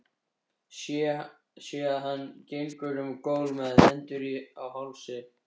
Sé að hann gengur um gólf með hendur á hálsi.